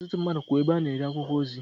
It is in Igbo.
Ọtụtụ mmadụ kwú ebe a na-ere akwụkwọ ozi.